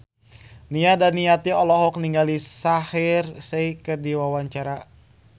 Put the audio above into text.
Nia Daniati olohok ningali Shaheer Sheikh keur diwawancara